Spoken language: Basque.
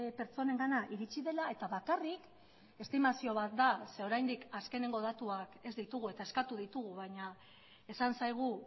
pertsonengana iritzi dela eta bakarrik estimazio bat da ze oraindik azkenengo datuak ez ditugu eta eskatu ditugu baina esan zaigu